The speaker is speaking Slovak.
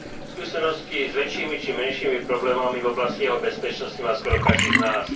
Skúsenosti s väčšími či menšími problémami v oblasti jeho bezpečnosti má skoro každý z nás.